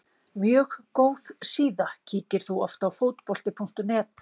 Mjög góð síða Kíkir þú oft á Fótbolti.net?